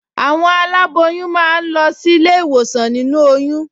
Àwọn aláboyún máa ń lọ sílé ìwòsàn nínú oyún